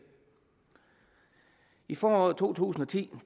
i foråret to tusind og ti